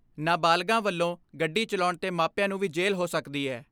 ਨਾਬਾਲਗਾਂ ਵੱਲੋਂ ਗੱਡੀ ਚਲਾਉਣ ਤੇ ਮਾਪਿਆਂ ਨੂੰ ਵੀ ਜੇਲ੍ਹ ਹੋ ਸਕਦੀ ਹੈ।